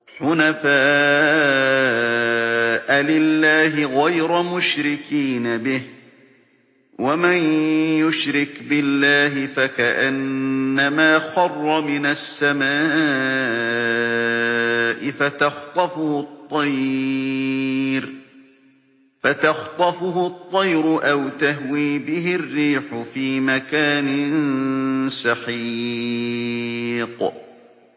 حُنَفَاءَ لِلَّهِ غَيْرَ مُشْرِكِينَ بِهِ ۚ وَمَن يُشْرِكْ بِاللَّهِ فَكَأَنَّمَا خَرَّ مِنَ السَّمَاءِ فَتَخْطَفُهُ الطَّيْرُ أَوْ تَهْوِي بِهِ الرِّيحُ فِي مَكَانٍ سَحِيقٍ